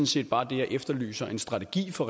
set bare det jeg efterlyser en strategi for